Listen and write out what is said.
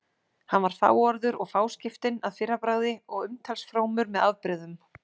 Hann var fáorður og fáskiptinn að fyrrabragði og umtalsfrómur með afbrigðum.